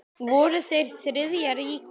Voru þeir Þriðja ríkið?